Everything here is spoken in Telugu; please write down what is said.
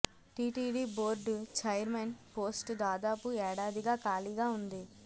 టిటిడి బోర్డు ఛైర్మన్ పోస్టు దాదాపు ఏడాదిగా ఖాళీగా ఉంది